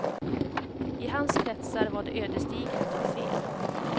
I hans kretsar var det ödesdigert att ha fel.